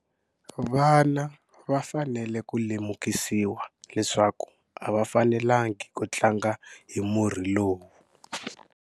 Vana va fanele ku lemukisiwa leswaku a va fanelangi ku tlanga hi murhi lowu.